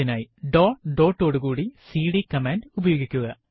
അതിനായി dot dot ഓടു കൂടി സിഡി കമാൻഡ് ഉപയോഗിക്കുക